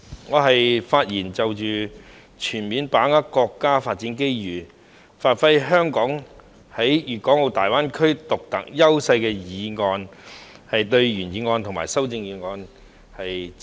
代理主席，我是就"全面把握國家發展機遇，發揮香港在粵港澳大灣區的獨特優勢"議案發言，並對原議案和修正案表示支持。